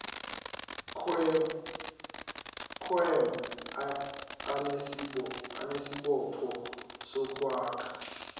ciom anesibopho sokwakha